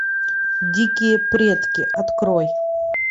дикие предки открой